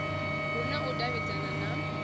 hu na u davhidzana na